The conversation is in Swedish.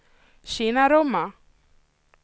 Kinnarumma